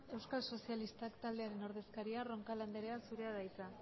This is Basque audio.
euskal sozialistak taldearen ordezkaria roncal anderea zurea da hitza